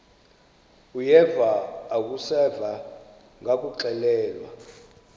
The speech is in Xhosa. uyeva akuseva ngakuxelelwa